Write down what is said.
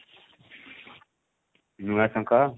ନୂଆ ଶଙ୍ଖ?